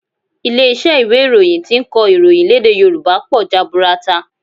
Ilé iṣẹ́ ìwé ìròyìn tí ń kọ ìròyìn lédè Yòrùbá pọ̀ jaburata